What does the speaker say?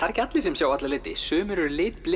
ekki allir sem sjá alla liti sumir eru